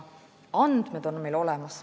Andmed on meil olemas.